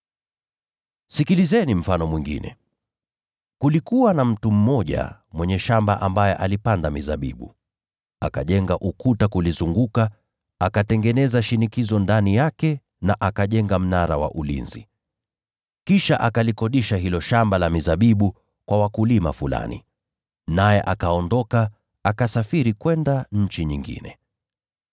“Sikilizeni mfano mwingine: Kulikuwa na mtu mmoja mwenye shamba ambaye alipanda shamba la mizabibu. Akajenga ukuta kulizunguka, akatengeneza shinikizo ndani yake na akajenga mnara wa ulinzi. Kisha akalikodisha hilo shamba la mizabibu kwa wakulima fulani, naye akaondoka, akasafiri kwenda nchi nyingine.